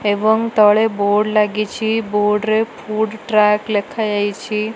ଏବଂ ତଳେ ବୋର୍ଡ ଲାଗିଚି ବୋର୍ଡ ରେ ଫୁଡ୍ ଟ୍ରାକ ଲେଖା ଯାଇଚି।